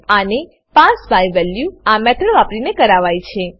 આને pass by value pass by value આ method વાપરીને કરાવાય છે